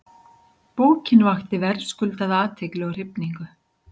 Bókin vakti verðskuldaða athygli og hrifningu.